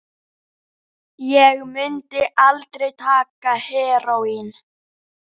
Ég mundi aldrei taka heróín.